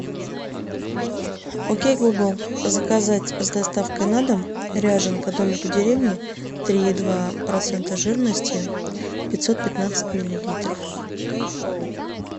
окей гугл заказать с доставкой на дом ряженка домик в деревне три и два процента жирности пятьсот пятнадцать миллилитров